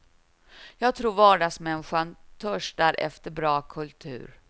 Jag tror vardagsmänniskan törstar efter bra kultur.